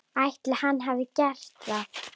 Ætli hann hafi gert það?